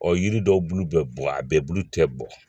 Ɔ yiri dɔw bulu bɛ bɔn a bɛɛ bulu tɛ bɔ